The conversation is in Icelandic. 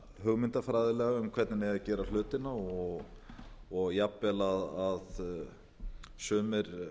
hugmyndafræðilega um hvernig eigi að gera hlutina og jafnvel að sumir